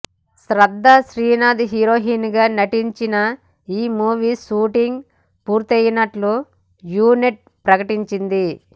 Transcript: శ్రద్దా శ్రీనాథ్ హీరోయిన్గా నటించిన ఈ మూవీ షూటింగ్ పూర్తైనట్లు యూనిట్ ప్రకటించింది